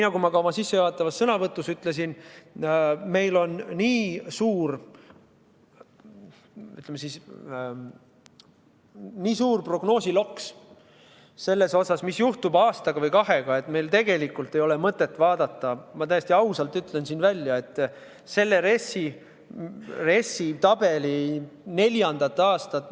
Nagu ma ka oma sissejuhatavas sõnavõtus ütlesin, on meil niivõrd suur, ütleme, prognoosiloks selles osas, mis juhtub aasta või kahe pärast, et meil tegelikult ei ole mõtet vaadata – ma täiesti ausalt ütlen siin välja – RES-i tabeli neljandat aastat.